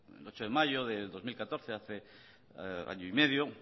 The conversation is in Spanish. hace el ocho de mayo del dos mil catorce hace año y medio